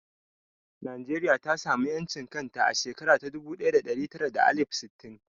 Najeriya ta samu ƴancin kanta a shekara dubu ɗaya da ɗari tara da alif sittin